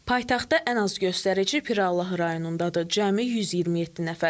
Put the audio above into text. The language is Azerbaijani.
Paytaxtda ən az göstərici Pirallahı rayonundadır, cəmi 127 nəfər.